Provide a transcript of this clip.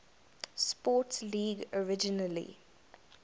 sports league originally